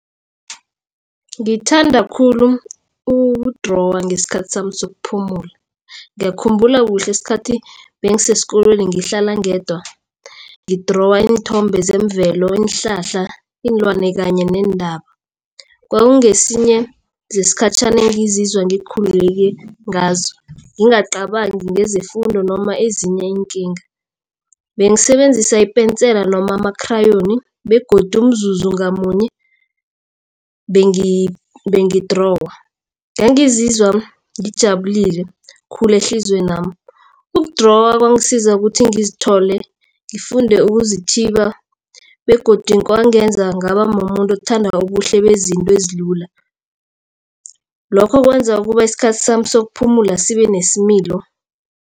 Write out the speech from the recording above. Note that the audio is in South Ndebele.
Ngithanda khulu ukudrowa ngesikhathi sami sokuphumula. Ngiyakhumbula kuhle ngesikhathi bengisesikolweni ngihlala ngedwa ngidrowa iinthombe zemvelo, iinhlahla, iinlwana kanye neentaba. Kwakungesinye zesikhatjhana engizizwa ngikhululeke ngazo ngingacabangi ngezefundo noma ezinye iinkinga. Bengisebenzisa ipensela noma ama-crayon begodu umzuzu ngamunye bengidrowa ngangizizwa ngijabulile khulu ehliziywenami. Ukudrowa kwangisiza ukuthi ngizithole ngifunde ukuzithiba begodu kwangenza ngaba mumuntu othanda ubuhle bezinto ezilula. Lokho kwenza ukuba isikhathi sami sokuphumula sibe nesimilo.